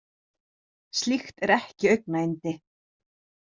Slíkt er ekki augnayndi.